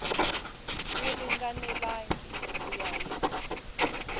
wu ringanelangi ku ya hi